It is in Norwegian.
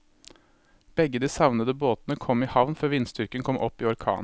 Begge de savnede båtene kom i havn før vindstyrken kom opp i orkan.